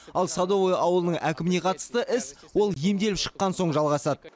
ал садовое ауылының әкіміне қатысты іс ол емделіп шыққан соң жалғасады